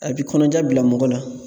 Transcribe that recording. A bi kɔnɔja bila mɔgɔ la.